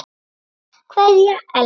Kveðja Ella.